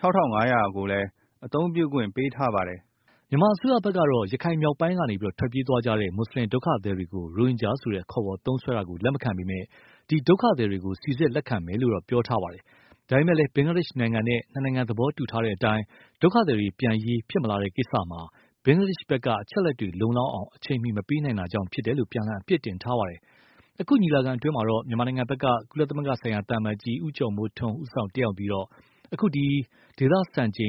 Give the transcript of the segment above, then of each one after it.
၆၅၀၀ ဧက ကိုလည်း အသုံးပြုခွင့်ပေးထားပါတယ်။” မြန်မာအစိုးရဘက်ကတော့ ရခိုင်မြောက်ပိုင်းကနေ ထွက်ပြေးသွားကြတဲ့ မွတ်ဆလင်ဒုက္ခသည်တွေကို ရိုဟင်ဂျာလို ခေါ်ဝေါ်သုံးစွဲတာ လက်မခံပေမယ့် ဒီ ဒုက္ခသည်တွေကို စိစစ်လက်ခံမယ်လို့ ပြောထားပါတယ်။ ဒါပေမယ့်လည်း ဘင်္ဂလားဒေ့ရှ်နိုင်ငံနဲ့ နှစ်နိုင်ငံသဘောတူထားတဲ့အတိုင်း ဒုက္ခသည်တွေ ပြန်ရေးဖြစ်မလာတဲ့ကိစ္စမှာ ဘင်္ဂလားဒေ့ရှ်ဘက်က အချက်အလက်တွေ လုံလောက်အောင် အချိန်မှီ မပေးနိုင်တာကြောင့်ဖြစ်တယ်လို့ ပြန်လှန်အပြစ်တင်ထားပါတယ်။ အခုညီလာခံမှာတော့ မြန်မာဘက်က ကုလသမဂ္ဂဆိုင်ရာ သံအမတ်ကြီး ဦးကျော်မိုးထွန်းဦးဆောင်တတ်ရောက်ပြီး အခု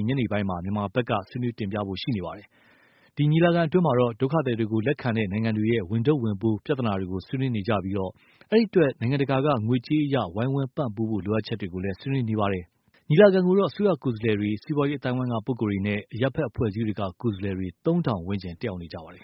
ညနေပိုင်းမှာပဲ မြန်မာဘက်က ဆွေးနွေးတင်ပြဖို့ရှိပါတယ်။ အခု ညီလာခံအတွင်းမှာတော့ ဒုက္ခသည်တွေကို လက်ခံတဲ့ နိုင်ငံတွေရဲ့ ဝန်ထုပ်ဝန်ပိုးပြဿနာတွေကို ဆွေးနွေးနေကြပြီး၊ အဲဒီအတွက် နိ်ုင်ငံတကာက ငွေကြေးအရ ဝိုင်းဝန်းပံပိုးဖို့ လိုအပ်ချက်တွေကိုလည်း ဆွေးနွေးနေပါတယ်။ ညီလာခံကို အစိုးရကိုယ်စားလှယ်တွေ စီးပွားရေးအသိုင်းအဝိုင်းကပုဂ္ဂိုလ်တွေနဲ့ အရပ်ဘက်အဖွဲ့အစည်းတွေက ကိုယ်စားလှယ်တွေ သုံးထောင်ဝန်းကျင်း တက်ရောက်နေကြပါတယ်။